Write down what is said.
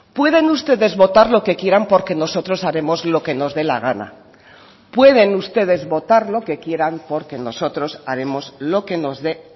pueden ustedes votar lo que quieran porque nosotros haremos lo que nos dé la gana pueden ustedes votar lo que quieran porque nosotros haremos lo que nos dé